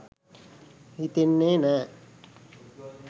හිතෙන්නේ නෑ.